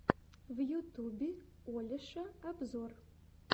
в ютубе олеша обзор